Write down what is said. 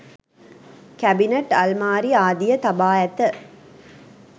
Cabinet අල්මාරි ආදිය තබා ඇත.